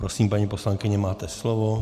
Prosím, paní poslankyně, máte slovo.